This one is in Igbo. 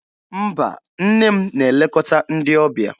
Mba, nne m na-elekọta ndị ọbịa.